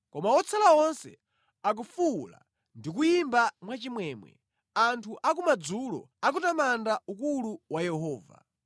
Koma otsala onse akufuwula ndi kuyimba mwachimwemwe; anthu akumadzulo akutamanda ukulu wa Yehova.